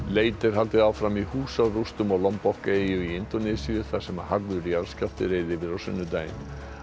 leit er haldið áfram í húsarústum á eyju í Indónesíu þar sem harður jarðskjálfti reið yfir á sunnudaginn